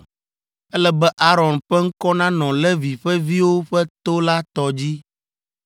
Ele be Aron ƒe ŋkɔ nanɔ Levi ƒe viwo ƒe to la tɔ dzi.